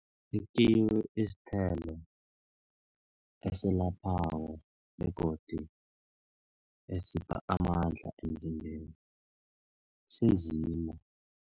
Ikiwi isithelo eselaphako begodu esipha amandla emzimbeni sinzima.